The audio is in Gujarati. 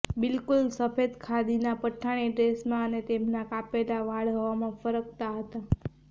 બિલકુલ સફેદ ખાદીના પઠાણી ડ્રેસમાં અને તેમના કાપેલા વાળા હવામાં ફરકતા હતા